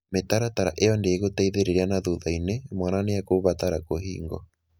Mĩtaratara ĩyo ndĩgũteithĩrĩria na thutha-inĩ, mwana nĩ ekũbatara kũhingwo.